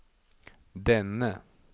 denne